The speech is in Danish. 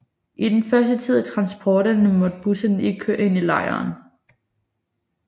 I den første tid af transporterne måtte busserne ikke køre ind i lejren